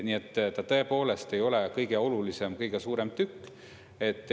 Nii et ta tõepoolest ei ole kõige olulisem, kõige suurem tükk.